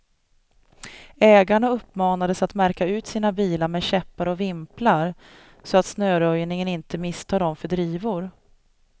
Ägarna uppmanades att märka ut sina bilar med käppar och vimplar, så att snöröjningen inte misstar dem för drivor.